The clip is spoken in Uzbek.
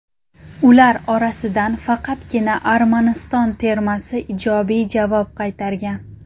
Ular orasidan faqatgina Armaniston termasi ijobiy javob qaytargan.